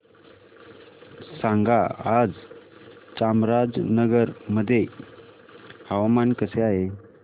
सांगा आज चामराजनगर मध्ये हवामान कसे आहे